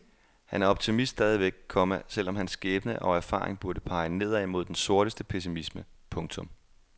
Han er optimist stadigvæk, komma selv om hans skæbne og erfaring burde pege nedad mod den sorteste pessimisme. punktum